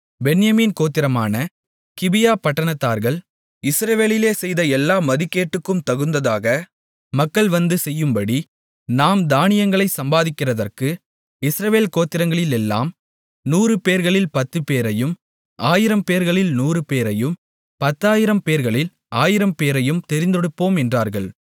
பென்யமீன் கோத்திரமான கிபியா பட்டணத்தார்கள் இஸ்ரவேலிலே செய்த எல்லா மதிகேட்டுக்கும் தகுந்ததாக மக்கள் வந்து செய்யும்படி நாம் தானியங்களைச் சம்பாதிக்கிறதற்கு இஸ்ரவேல் கோத்திரங்களிலெல்லாம் நூறு பேர்களில் பத்துப்பேரையும் ஆயிரம் பேர்களில் நூறுபேரையும் பத்தாயிரம் பேர்களில் ஆயிரம்பேரையும் தெரிந்தெடுப்போம் என்றார்கள்